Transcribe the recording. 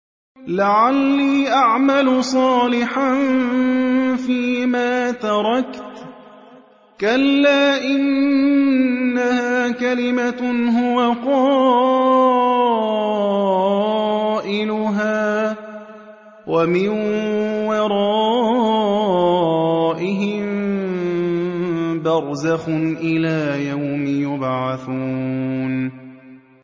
لَعَلِّي أَعْمَلُ صَالِحًا فِيمَا تَرَكْتُ ۚ كَلَّا ۚ إِنَّهَا كَلِمَةٌ هُوَ قَائِلُهَا ۖ وَمِن وَرَائِهِم بَرْزَخٌ إِلَىٰ يَوْمِ يُبْعَثُونَ